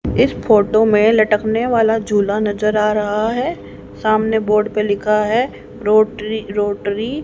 इस फोटो में लटकने वाला झूला नजर आ रहा है सामने बोर्ड पे लिखा है। --